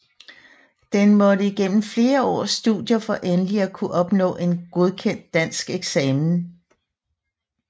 Denne måtte igennem flere års studier for endelig at kunne opnå en godkendt dansk eksamen